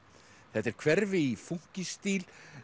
þetta er hverfi í fúnkísstíl